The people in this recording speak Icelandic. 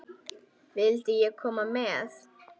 Vildi ég koma með?